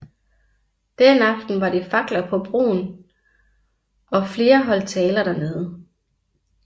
Den aften var det fakler på broen og flere holdt taler dernede